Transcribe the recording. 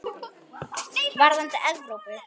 Varðandi Evrópu?